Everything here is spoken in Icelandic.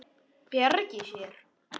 Bjargi sér.